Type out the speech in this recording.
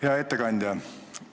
Hea ettekandja!